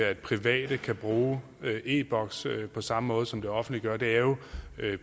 at private kan bruge e boks på samme måde som det offentlige gør det er jo